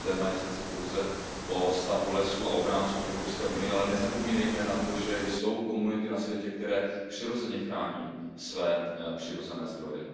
Toto téma je sice pouze o stavu lesů a ochráncích v Evropské unii, ale nezapomínejme na to, že jsou komunity na světě, které přirozeně chrání své přírodní zdroje.